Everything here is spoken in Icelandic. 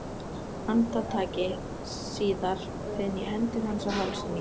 Andartaki síð ar finn ég hendur hans á hálsi mínum.